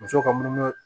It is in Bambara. Muso ka munumunu